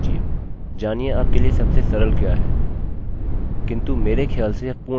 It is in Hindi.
इस पर कोशिश कीजिए इस पर काम कीजिए जानिये आपके लिए सबसे सरल क्या है